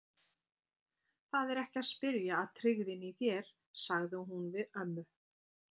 Það er ekki að spyrja að tryggðinni í þér, sagði hún við ömmu.